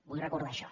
vull recordar això